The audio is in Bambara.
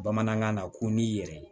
Bamanankan na ko n'i yɛrɛ ye